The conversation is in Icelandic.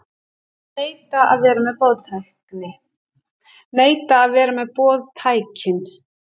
Neita að vera með boðtækin